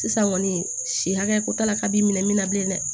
Sisan kɔni si hakɛ ko t'a la k'a b'i minɛ min na bilen dɛ